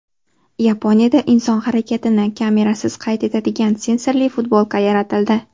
Yaponiyada inson harakatini kamerasiz qayd etadigan sensorli futbolka yaratildi.